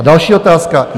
A další otázka.